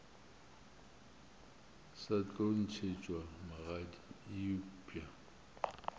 sa tlo ntšhetšwa magadi eupša